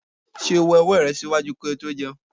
Ṣe o wẹ ọwọ rẹ ṣaaju ki o to jẹun?